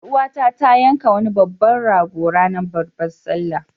Ƴar uwata ta yanka wani babban rago ranar babbar sallah.